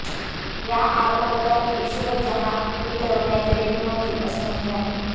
या आरोपपत्रात इशरत जहॉं ही तरुणी अतिरेकी नव्हती असे म्हटले आहे